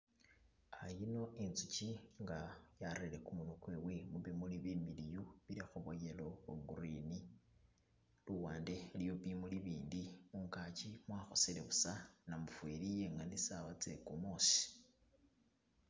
An yino inzuki nga yarere kumunwa kwewe mubimuli bimiliyu bili mo bwo yellow ne bwo green, luwande iliyo bimuli ibindi mungaki mwakhosele busa namufeli yengene sawa tse kumusi.